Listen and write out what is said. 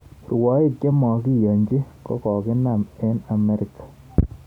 Rwoik chemokiyonji kokokinam eng Amerika